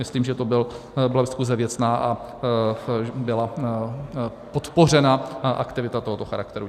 Myslím, že to byla diskuse věcná a byla podpořena aktivita tohoto charakteru.